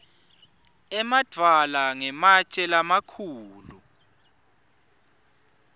emadvwala ngematje lamakhulu